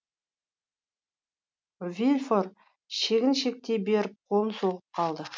вильфор шегіншектей беріп қолын соғып қалды